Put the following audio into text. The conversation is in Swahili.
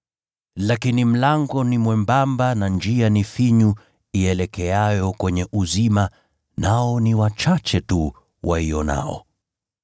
Lakini mlango ni mwembamba na njia ni finyu ielekeayo kwenye uzima, nao ni wachache tu waionao.